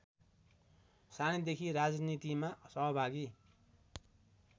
सानैदेखि राजनीतिमा सहभागी